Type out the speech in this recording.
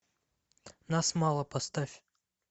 нас мало поставь